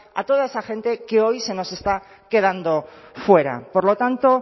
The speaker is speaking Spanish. a toda esa gente que hoy se nos está quedando fuera por lo tanto